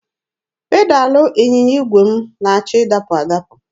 Pedalụ ịnyịnya igwe m na-achọ ịdapụ adapụ.